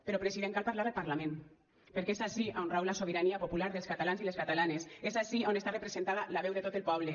però president cal parlar al parlament perquè és ací a on rau la sobirania popular dels catalans i les catalanes és ací a on està representada la veu de tot el poble